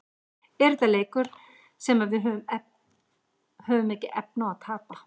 Er þetta leikur sem að við höfum ekki efni á að tapa?